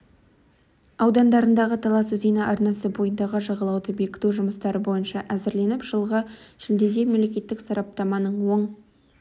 аудандарындағы талас өзені арнасы бойындағы жағалауды бекіту жұмыстары бойынша әзірленіп жылғы шілдеде мемлекеттік сараптаманың оң